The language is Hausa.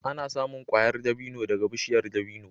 Ana samun ƙwayar dabino daga bishiyar dabino.